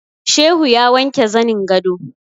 Shehu ya wanke zanin gado